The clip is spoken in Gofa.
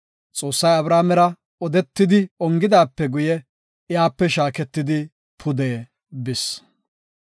Xoossay Abrahaamera odetidi ongidaape guye iyape shaaketidi pude bis.